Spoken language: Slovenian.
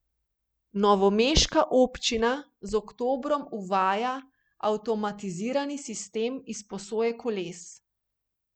Novomeška občina z oktobrom uvaja avtomatizirani sistem izposoje koles.